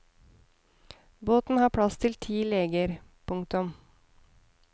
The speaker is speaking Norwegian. Båten har plass til ti leger. punktum